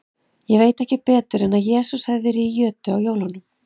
Ég veit ekki betur en að Jesús hafi verið í jötu á jólunum.